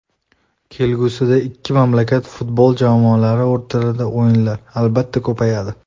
Kelgusida ikki mamlakat futbol jamoalari o‘rtasidagi o‘yinlar, albatta, ko‘payadi.